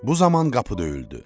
Bu zaman qapı döyüldü.